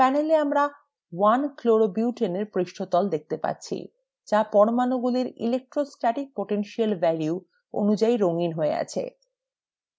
panel we আমরা 1chloro butane এর পৃষ্ঠতল দেখতে পাচ্ছি যা পরমাণুগুলির electrostatic potential values অনুযায়ী রঙিন হয়ে আছে